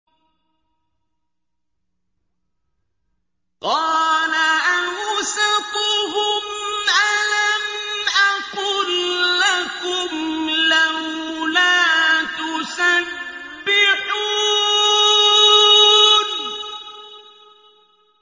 قَالَ أَوْسَطُهُمْ أَلَمْ أَقُل لَّكُمْ لَوْلَا تُسَبِّحُونَ